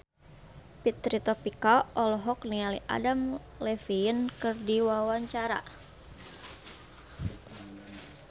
Fitri Tropika olohok ningali Adam Levine keur diwawancara